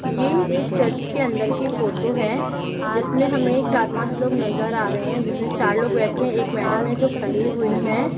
ये एक चर्च के अंदर की फोटो है जिसमें हमे चार पाँच लोग नजर आ रहे हैं जिसमें चार लोग बैठे हैं एक मैडम है जो खड़ी हुई है।